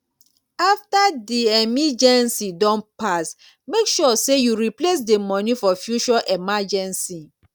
after di emeegency don pass make sure sey you replace di money for future emergency